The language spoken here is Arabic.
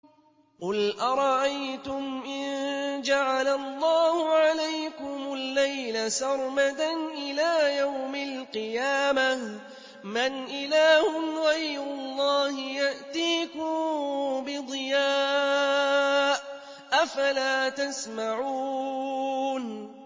قُلْ أَرَأَيْتُمْ إِن جَعَلَ اللَّهُ عَلَيْكُمُ اللَّيْلَ سَرْمَدًا إِلَىٰ يَوْمِ الْقِيَامَةِ مَنْ إِلَٰهٌ غَيْرُ اللَّهِ يَأْتِيكُم بِضِيَاءٍ ۖ أَفَلَا تَسْمَعُونَ